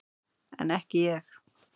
En ekki ég.